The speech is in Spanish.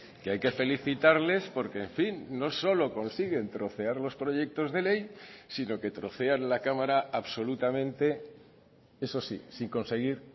que hay que felicitarles porque en fin no solo consiguen trocear los proyectos de ley sino que trocean la cámara absolutamente eso sí sin conseguir